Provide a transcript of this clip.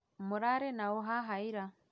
Mũrarĩ naũ haha ĩra